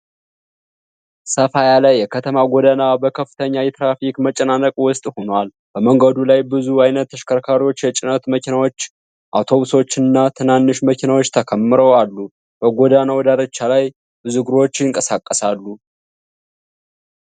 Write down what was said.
ሰፋ ያለ የከተማ ጎዳና በከፍተኛ የትራፊክ መጨናነቅ ውስጥ ሆኖዋል። በመንገዱ ላይ ብዙ አይነት ተሽከርካሪዎች፣ የጭነት መኪናዎች፣ አውቶቡሶች እና ትናንሽ መኪናዎች ተከምረው አሉ። በጎዳናው ዳርቻ ላይ ብዙ እግረኞች ይንቀሳቀሳሉ።